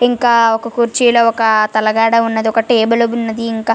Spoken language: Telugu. ఇంకా ఒక కుర్చీలో ఒక తలగడ ఉంది ఒక టేబుల్ ఉన్నది ఇంక --.